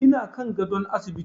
Ina kan gadon asibiti.